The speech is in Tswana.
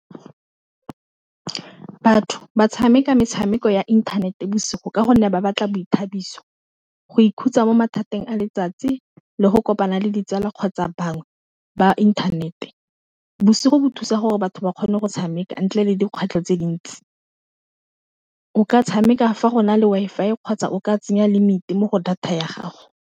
Batho ba tshameka metshameko ya inthanete bosigo ka gonne ba batla boithabiso, go ikhutsa mo mathateng a letsatsi, le go kopana le ditsala kgotsa bangwe ba inthanete, bosigo bo thusa gore batho ba kgone go tshameka ntle le dikgwetlho tse dintsi, o ka tshameka fa go na le Wi-Fi kgotsa o ka tsenya limit mo go data ya gago.